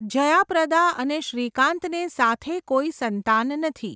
જયા પ્રદા અને શ્રીકાંતને સાથે કોઈ સંતાન નથી.